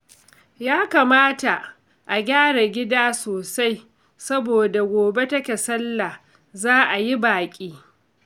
Ya kamata a gyara gida sosai, saboda gobe take Sallah za'a yi baƙi